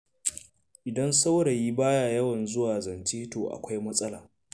Idan saurayi ba ya yawan zuwa zance to da akwai matsala.